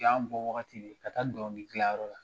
Y'an bɔwagati ka taa dɛnkilidilanyɔrɔ la